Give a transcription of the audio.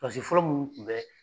fɔlɔ munnu tun bɛ